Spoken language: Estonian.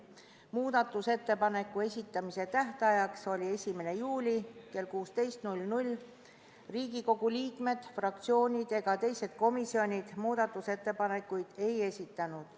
Muudatusettepanekute esitamise tähtajaks, mis oli 1. juuli kell 16, Riigikogu liikmed, fraktsioonid ega teised komisjonid muudatusettepanekuid ei esitanud.